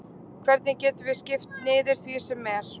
Hvernig getum við skipt niður því sem er?